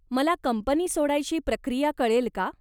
मला कंपनी सोडायची प्रक्रिया कळेल का?